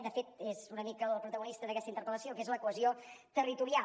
de fet és una mica la protagonista d’aquesta interpel·lació que és la cohesió territorial